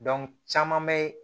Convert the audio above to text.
caman bɛ